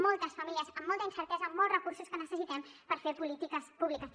moltes famílies amb molta incertesa molts recursos que necessitem per fer polítiques públiques